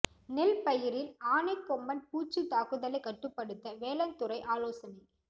நெல் பயிரில் ஆனைக் கொம்பன் பூச்சி தாக்குதலை கட்டுப்படுத்த வேளாண் துறை ஆலோசனை